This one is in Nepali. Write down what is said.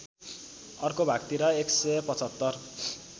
अर्को भागतिर १७५